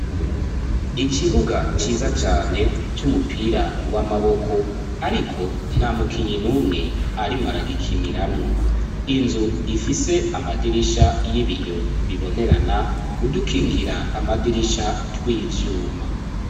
Ikibuga, ciza cane, c'umupira w'amaboko, ariko, nta mukinyi n'umwe, arimwo aragikiniramwo; inzu, ifise amadirisha y'ibiyo, bibonerana; udukingira amadirisha, tw'ivyuma.